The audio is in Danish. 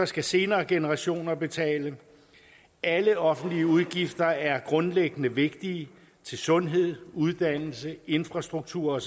skal senere generationer betale alle offentlige udgifter er grundlæggende vigtige til sundhed uddannelse infrastruktur